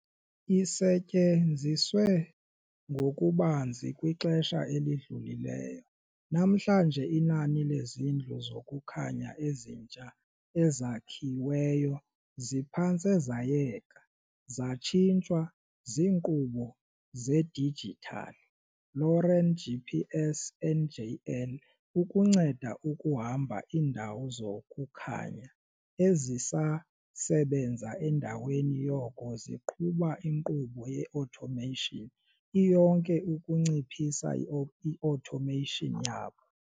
Isetyenziswe ngokubanzi kwixesha elidlulileyo, namhlanje inani lezindlu zokukhanya ezitsha ezakhiweyo ziphantse zayeka, zatshintshwa ziinkqubo zedijithali LORAN, GPS, njl. ukunceda ukuhamba iindawo zokukhanya ezisasebenza endaweni yoko ziqhuba inkqubo ye -automation iyonke ukunciphisa i-automation yabo.